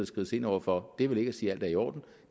skrides ind over for det er vel ikke at sige at alt er i orden